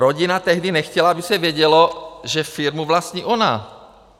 Rodina tehdy nechtěla, aby se vědělo, že firmu vlastní ona.